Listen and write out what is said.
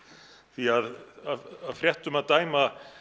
því af fréttum að dæma